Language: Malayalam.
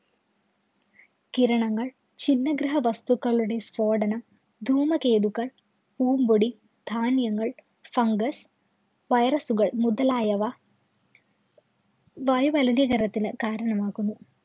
കിരണങ്ങള്‍, ചിന്ന ഗ്രഹ വസ്തുക്കളുടെ സ്ഫോടനം, ധൂമകേതുക്കള്‍, പൂമ്പൊടി, ധാന്യങ്ങള്‍, ഫംഗസ്, വൈറസുകള്‍, മുതലായവ വായുമലിനീകരണത്തിന് കാരണമാകുന്നു.